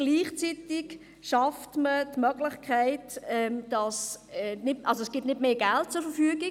Gleichzeitig stellt man nicht mehr Geld zur Verfügung.